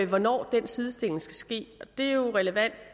hvornår den sidestilling skal ske og det er jo relevant